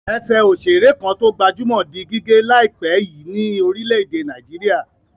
Ẹsẹ̀ òṣèré kan tó gbajúmọ̀ di gígé láìpẹ́ yìí ní orílẹ̀-èdè Nàìjíríà.